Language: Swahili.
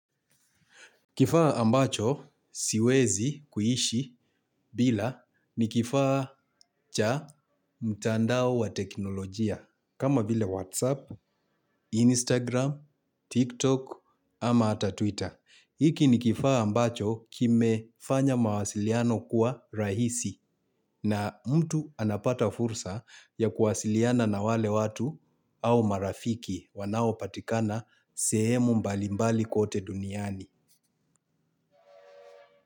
Kifaa ambacho siwezi kuishi bila ni kifaa cha mtandao wa teknolojia kama vile Whatsapp, Instagram, TikTok ama hata Twitter. Hiki ni kifaa ambacho kimefanya mawasiliano kuwa rahisi na mtu anapata fursa ya kuwasiliana na wale watu au marafiki wanaopatikana sehemu mbalimbali kote duniani.